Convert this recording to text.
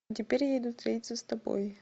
теперь я иду встретиться с тобой